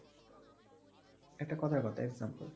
একটা কথার কথা example